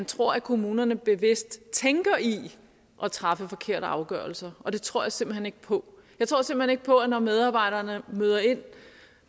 tro at kommunerne bevidst tænker i at træffe forkerte afgørelser og det tror jeg simpelt hen ikke på jeg tror simpelt hen ikke på at når medarbejderne møder ind